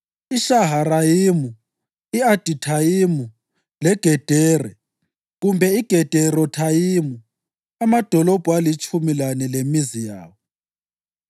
iShaharayimu, i-Adithayimu leGedera (kumbe iGederothayimu) amadolobho alitshumi lane lemizi yawo.